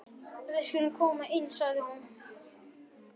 Við skulum koma inn, sagði hún.